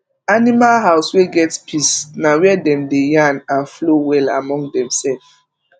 animal house wey get peace na where dem dey yarn and flow well among dem sef